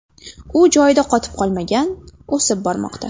U joyida qotib qolmagan, o‘sib bormoqda.